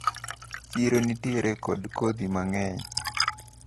chiro nitiere kod kodhi mang`eny.